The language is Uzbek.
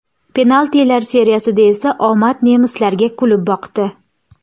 Penaltilar seriyasida esa omad nemislarga kulib boqdi.